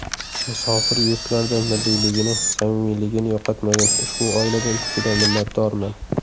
Musofir yurtlarda milliyligini, samimiyligini yo‘qotmagan ushbu oiladan juda minnatdorman.